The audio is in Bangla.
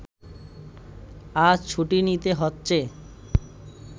আজ ছুটি নিতে হচ্ছে